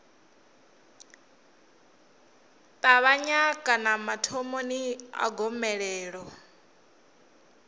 ṱavhanya kana mathomoni a gomelelo